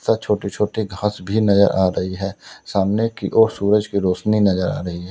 छोटे छोटे घास भी नजर आ रही है सामने की ओर सूरज की रोशनी नजर आ रही है।